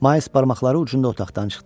Mais barmaqları ucunda otaqdan çıxdı.